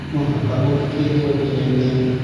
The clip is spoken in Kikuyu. Mũbaka ũthũkitwe kinyagia ha?